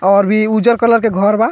और भी उज्जर कलर के घर बा।